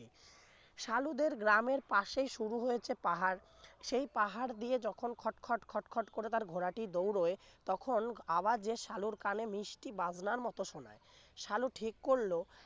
সালুদের গ্রামের পাশেই শুরু হয়েছে পাহাড় সেই পাহাড় দিয়ে যখন খট খট খট খট করে তার ঘোড়াটি দৌড়য় তখন আওয়াজের সালুর কানে মিষ্টি বাজনার মতো শোনায় সালু ঠিক করল